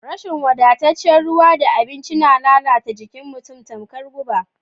Rashin wadataccen ruwa da abinci na lalata jikin mutum tamkar guba.